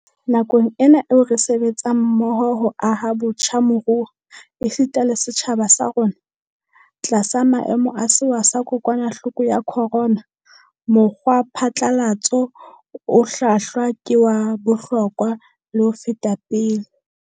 Nakong ena eo re sebetsang mmoho ho aha botjha moruo, esita le setjhaba sa rona, tlasa maemo a sewa sa kokwana hloko ya khorona, mokgwa phatlalatso o hlwahlwa ke wa bohlokwa le ho feta pele.